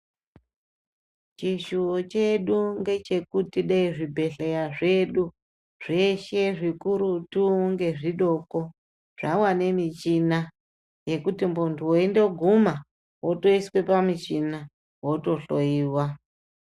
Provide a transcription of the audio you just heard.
Chishiwo chedu ndechekuti dezvibhedhlera zvedu zveshe zvikurutu nezvidoko zvawanda michina zvekuti muntu weitoguma wotoiswa pamuchini wotohloiwa.